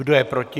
Kdo je proti?